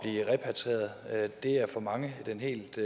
repatrieret det er for mange den helt